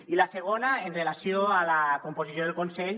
i la segona amb relació a la composició del consell